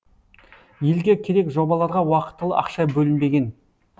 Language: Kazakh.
елге керек жобаларға уақытылы ақша бөлінбеген